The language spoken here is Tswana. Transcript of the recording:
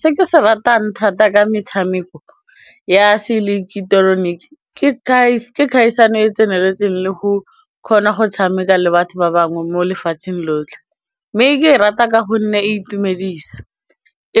Se ke se ratang thata ka metshameko ya seileketeroniki ke kgaisano e tseneletseng le go kgona go tshameka le batho ba bangwe mo lefatsheng lotlhe mme ke e rata ka gonne e itumedisa,